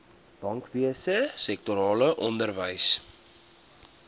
bankwese sektorale onderwys